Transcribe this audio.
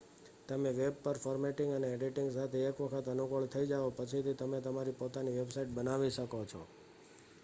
તમે વેબ પર ફોર્મેટિંગ અને એડિટિંગ સાથે એક વખત અનુકૂળ થઈ જાઓ પછી થી તમે તમારી પોતાની વેબસાઇટ બનાવી શકો છો